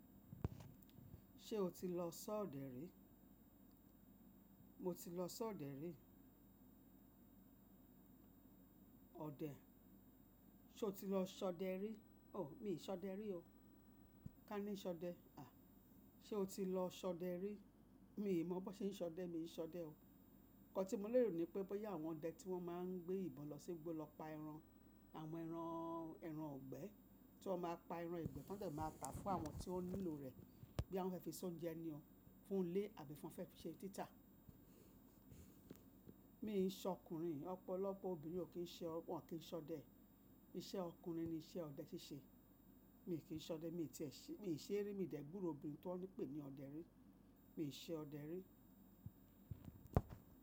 Ṣé o ti lọ ṣọ ọdẹ rí? Mo ti lọ ṣọ ọdẹ rí. Ọdẹ, ṣe o ti lọ ṣọ ọdẹ rí? Oh, mi ṣ'ọdẹ rí o. Ka ni ṣọdẹ? À, ṣe o ti lọ ṣọ ọdẹ rí? Mi mọ bó ṣe ń ṣọdẹ, mi ṣọdẹ o. Ǹnkan tí mo lérò ni pé, bóyá àwọn ọdẹ tí wọ́n máa ń gbé ìbọn lọ sígbo lọ pa ẹran, àwọn ẹran, ẹran gbẹ́, tí wọ́n máa pa ẹran ìgbẹ́, tán dẹ̀ máa ta fún àwọn tí ó nílò rẹ̀ bọ́ya won fẹ́ fi s’óúnjẹ ni ọ́, fún ilé àbí fún ọ fẹ́ fi ṣe títà. Mi n ṣe ọkùnrin, ọ̀pọ̀lọpọ̀ obìnrin ò kí ń ṣe, wọ́n ò kí ń ṣọdẹ. Iṣẹ́ ọkùnrin ni iṣẹ́ ọdẹ ṣíṣe. Mi kí ń ṣọdẹ, mi tiẹ ṣe, mi ṣe rí, mi dẹ̀ gbúró obìnrin tọ́ n pè ní ọdẹ rí. Mi ò ṣe ọdẹ rí.